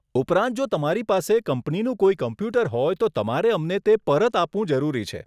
ઉપરાંત જો તમારી પાસે કંપનીનું કોઈ કમ્પ્યુટર હોય તો તમારે અમને તે પરત આપવું જરૂરી છે.